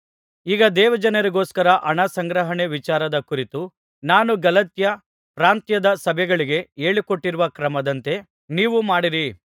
ಈಗ ದೇವಜನರಿಗೋಸ್ಕರ ಹಣ ಸಂಗ್ರಹಣೆ ವಿಚಾರದ ಕುರಿತು ನಾನು ಗಲಾತ್ಯ ಪ್ರಾಂತ್ಯದ ಸಭೆಗಳಿಗೆ ಹೇಳಿಕೊಟ್ಟಿರುವ ಕ್ರಮದಂತೆ ನೀವೂ ಮಾಡಿರಿ